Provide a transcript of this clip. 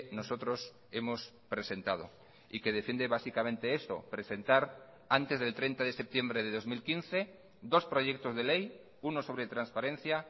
nosotros hemos presentado y que defiende básicamente eso presentar antes del treinta de septiembre de dos mil quince dos proyectos de ley uno sobre transparencia